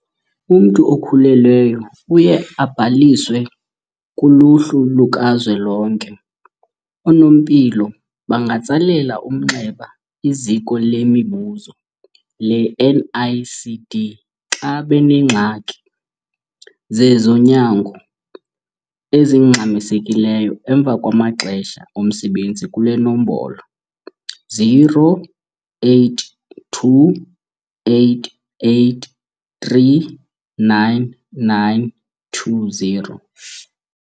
Umntu okhulelweyo uye abhaliswe kuluhlu luka zwelonke. Oonompilo bangatsalela umnxeba iZiko leMibuzo le-NICD xa benengxaki zezonyango ezingxamisekileyo emva kwamaxesha omsebenzi kule nombolo- 082 883 9920.